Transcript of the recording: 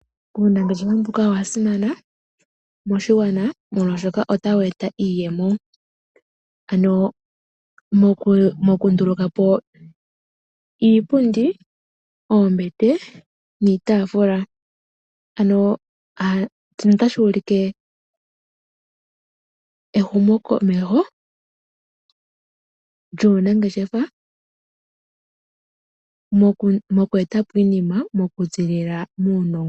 Unangeshefa owasimana moshigwana molwashoka otawu eta iiyemo ano moku nduluka po iipundi, oombete niitafula. Shika otashi ulike ehumo komeho lyuunangeshefa mokweta po iinima tayi zilile muunongo.